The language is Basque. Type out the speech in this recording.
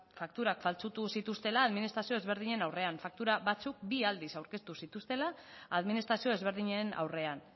fakturak faltsutu zituztela administrazio ezberdinen aurrean faktura batzuk bi aldiz aurkeztu zituztela administrazio ezberdinen aurrean